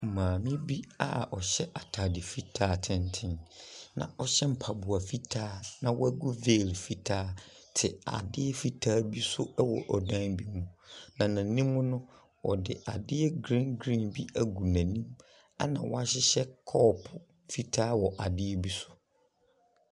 Maame bi a ɔhyɛ atade fitaa tenten na ɔhyɛ mpaboa fitaa, na wagu veil fitaa te adeɛ fitaa bi so wɔ ɔdan bi mu, na n'anim no, wɔde adeɛ green green bi agu n'anim, ɛnna wɔahyehyɛ kɔɔpo fitaa wɔ adeɛ bi so.